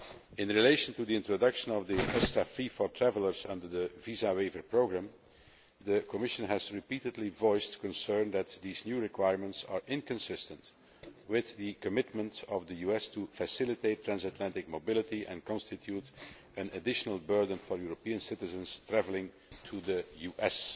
In relation to the introduction of the ESTA fee for travellers under the visa waiver programme, the Commission has repeatedly voiced concern that these new requirements are inconsistent with the commitment of the US to facilitate transatlantic mobility and that they constitute an additional burden for European citizens travelling to the US.